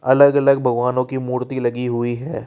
अलग अलग भगवानों की मूर्ति लगी हुई है।